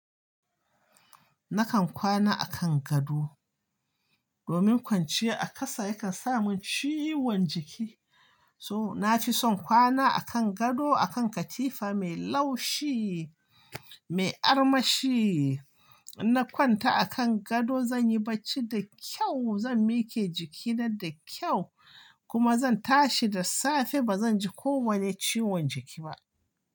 Nakan kwana a kan gado, domin kwanciya a ƙasa yakan sa mun ciwon jiki. To na fi son kwana a kan gado, a kan katifa mai laushi, mai armashi. Na kwanta a kan gado zan yi barci da kyau, zan miƙe jikina da kyau kuma zan tashi da safe ba zan ji kowane ciwon jiki ba.